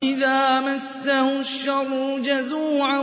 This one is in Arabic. إِذَا مَسَّهُ الشَّرُّ جَزُوعًا